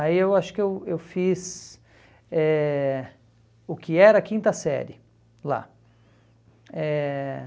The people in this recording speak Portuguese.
Aí eu acho que eu eu fiz eh o que era a quinta série lá. Eh